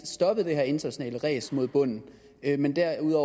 stoppet det her internationale ræs mod bunden men derimod